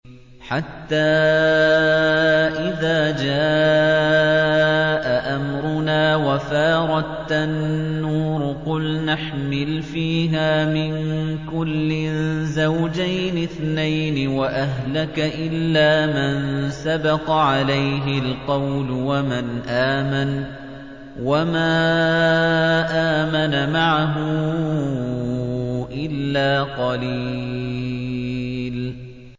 حَتَّىٰ إِذَا جَاءَ أَمْرُنَا وَفَارَ التَّنُّورُ قُلْنَا احْمِلْ فِيهَا مِن كُلٍّ زَوْجَيْنِ اثْنَيْنِ وَأَهْلَكَ إِلَّا مَن سَبَقَ عَلَيْهِ الْقَوْلُ وَمَنْ آمَنَ ۚ وَمَا آمَنَ مَعَهُ إِلَّا قَلِيلٌ